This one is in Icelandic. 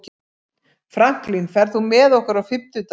Franklin, ferð þú með okkur á fimmtudaginn?